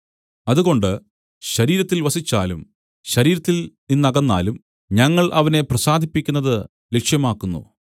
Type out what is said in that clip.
അതുകൊണ്ട് ശരീരത്തിൽ വസിച്ചാലും ശരീരത്തിൽ നിന്നകന്നാലും ഞങ്ങൾ അവനെ പ്രസാദിപ്പിക്കുന്നത് ലക്ഷ്യമാക്കുന്നു